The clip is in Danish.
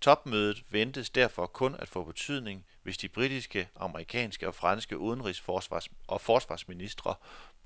Topmødet ventes derfor kun at få betydning, hvis de britiske, amerikanske og franske udenrigs og forsvarsministre